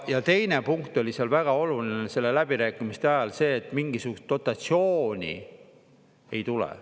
Ja teine punkt oli seal väga oluline selle läbirääkimiste ajal, see, et mingisugust dotatsiooni ei tule.